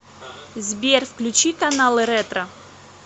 сбер включи каналы ретро